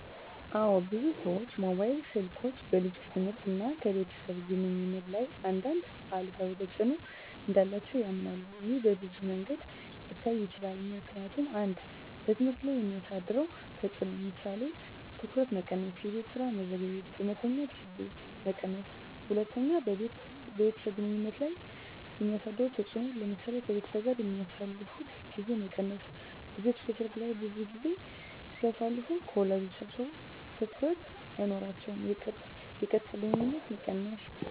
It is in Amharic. አዎ፣ ብዙ ሰዎች ሞባይል ስልኮች በልጆች ትምህርት እና ከቤተሰብ ግንኙነት ላይ አንዳንድ አሉታዊ ተጽዕኖ እንዳላቸው ያምናሉ። ይህ በብዙ መንገዶች ሊታይ ይችላል፦ ምክንያቱም 1. በትምህርት ላይ የሚያሳድረው ተጽዕኖ ለምሳሌ:- ትኩረት መቀነስ -የቤት ስራ መዘግየት -የመተኛት ጊዜ መቀነስ 2. በቤተሰብ ግንኙነት ላይ የሚያሳድረው ተጽዕኖ ለምሳሌ :-ከቤተሰብ ጋር የሚያሳልፉት ጊዜ መቀነስ – ልጆች በስልክ ላይ ብዙ ጊዜ ሲያሳልፉ ከወላጆቻ ትኩረት አይኖራቸውም። -የቀጥታ ግንኙነት መቀነስ